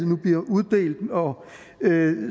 nu bliver uddelt og